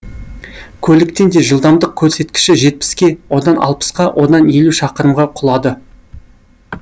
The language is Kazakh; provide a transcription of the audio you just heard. көліктің де жылдамдық көрсеткіші жетпіске одан алпысқа одан елу шақырымға құлады